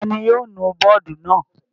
Ta ni yóò nu bọ́ọ́dù náà?